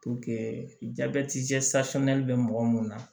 jabɛti bɛ mɔgɔ mun na